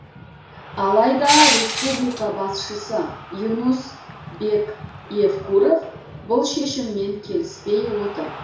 алайда республика басшысы юнус бек евкуров бұл шешіммен келіспей отыр